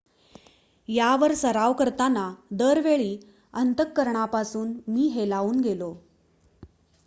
"""यावर सराव करताना दरवेळी अंतःकरणापासून मी हेलावून गेलो.""